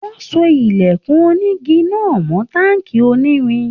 Wọ́n so ilẹ̀kùn onígi náà mọ́ táǹkì onírin.